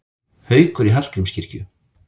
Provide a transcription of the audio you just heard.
Haukur í Hallgrímskirkju